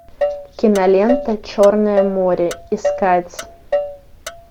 кинолента черное море искать